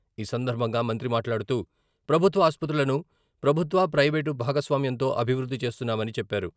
ఈ సందర్భంగా మంత్రి మాట్లాడుతూ ప్రభుత్వ ఆసుపత్రులను ప్రభుత్వ, ప్రయివేటు భాగస్వామ్యంతో అభివృద్ధి చేస్తున్నామని చెప్పారు.